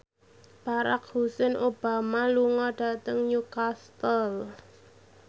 Barack Hussein Obama lunga dhateng Newcastle